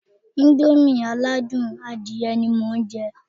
Íńdómì aládùn adìyẹ ni mo ń jẹ́